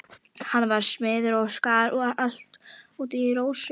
Hann var smiður og skar allt út í rósum.